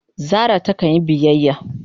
Zara ta kan yi biyyaya.